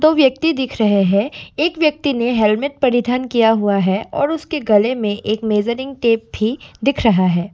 दो व्यक्ति दिख रहे हैं एक व्यक्ति ने हेलमेट परिधान किया हुआ है और उसके गले में एक मेजरिंग टेप भी दिख रहा है।